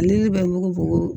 Ne bɛ mun fɔ